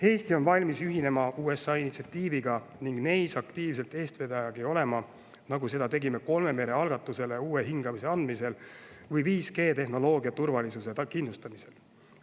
Eesti on valmis ühinema USA initsiatiividega ning neis aktiivselt eestvedajagi olema, nagu seda tegime kolme mere algatusele uue hingamise andmisel või 5G tehnoloogia turvalisuse kindlustamisel.